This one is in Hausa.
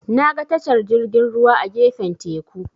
Naga tashar jirgin ruwa a gefen teku.